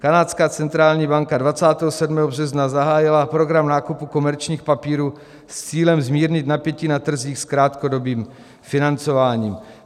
Kanadská centrální banka 27. března zahájila program nákupu komerčních papírů s cílem zmírnit napětí na trzích s krátkodobým financováním.